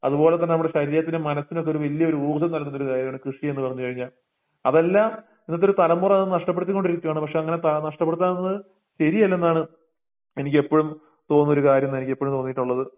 അത്പോലെതന്നെ നമ്മടെ ശരീരത്തിനും, മനസിനുവൊക്കെ വല്യഒര് ഊർജ്ജംനൽകുന്നൊര്കാര്യയാണ് കൃഷിയെന്ന്പറഞ്ഞുകഴിഞ്ഞ അതെല്ലാം ഇന്നത്തെരുതലമുറത് നഷ്ട്ടപ്പെടിത്തികൊണ്ടിരികുവാണ് പക്ഷങ്ങനെ ത നഷ്ട്ടപ്പെടുത്താതെന്ന് ശരിയല്ലെന്നാണ് എനിക്കെപ്പഴും തോന്നുന്നോര്കാര്യയെന്നാനിക്കെപ്പഴും തോന്നീട്ടുള്ളത്.